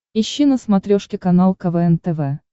ищи на смотрешке канал квн тв